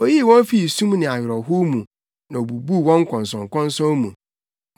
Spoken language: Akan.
Oyii wɔn fii sum ne awerɛhow mu, na obubuu wɔn nkɔnsɔnkɔnsɔn mu.